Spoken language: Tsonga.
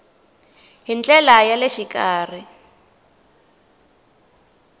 hi ndlela ya le xikarhi